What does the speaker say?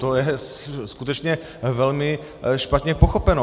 To je skutečně velmi špatně pochopeno.